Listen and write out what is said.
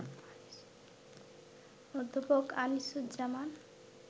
অধ্যাপক আনিসুজ্জামান